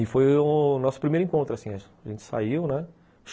E foi o nosso primeiro encontro, assim, a gente saiu, né?